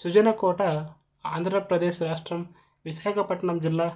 సుజనకోటఆంధ్ర ప్రదేశ్ రాష్ట్రం విశాఖపట్నం జిల్లా